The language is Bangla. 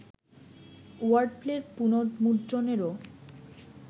ওয়ার্ডপ্লের পুনর্মুদ্রণেরও